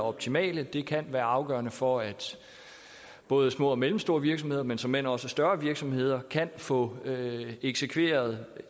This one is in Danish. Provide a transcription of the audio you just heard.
optimale det kan være afgørende for at både små og mellemstore virksomheder men såmænd også større virksomheder kan få eksekveret